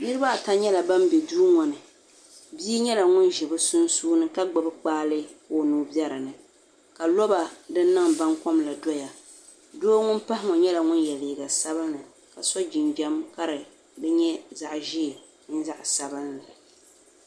Niriba ata nyɛla ba be duu ŋɔ ni bia nyɛla ŋun ʒi bɛ sunsuuni ka gbubi kpaale ka o nuu be di puuni ka lɔba din niŋ bankom la doya doo ŋun pahila nyɛla ŋun ye liiŋa sabinli ka so jinjam ka di niŋ zaɣ' ʒee mini zaɣ' sabinli